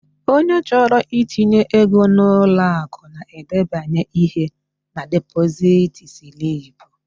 Onye chọrọ itinye ego n'ụlọakụ na-edebanye ihe na depozit slip.